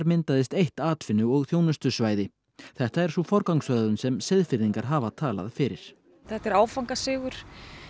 myndaðist eitt atvinnu og þjónustusvæði þetta er sú forgangsröðun sem Seyðfirðingar hafa talað fyrir þetta er áfangasigur